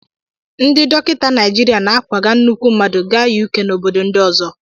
Ndị dọkịta Naịjirịa na-akwaga nnukwu mmadụ ga Yukee na obodo ndị ọzọ.